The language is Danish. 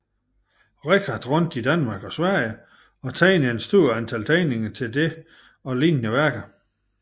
Richardt rundt i Danmark og Sverige og tegnede et stort antal tegninger til dette og lignende værker